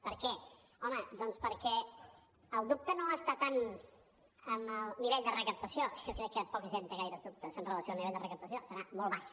per què home doncs perquè el dubte no està tant en el nivell de recaptació que jo crec que poca gent té gaires dubtes amb relació al nivell de recaptació serà molt baix